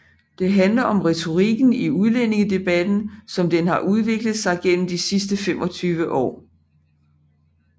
Den handler om retorikken i udlændingedebatten som den har udviklet sig de sidste 25 år